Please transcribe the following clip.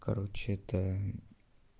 короче это